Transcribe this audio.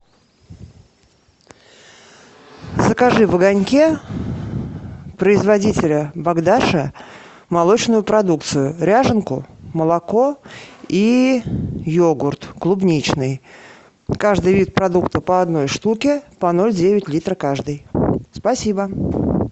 закажи в огоньке производителя богдаша молочную продукцию ряженку молоко и йогурт клубничный каждый вид продукта по одной штуке по ноль девять литра каждый спасибо